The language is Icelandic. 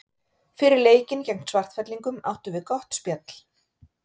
Fyrir leikinn gegn Svartfellingum áttum við gott spjall.